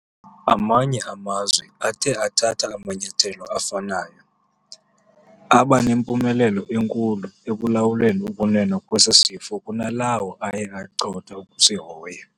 Amanye amazwe athe athatha amanyathelo afanayo, aba nempumelelo enkulu ekulawuleni ukunwenwa kwesi sifo kunalawo aye acotha ukusihoya.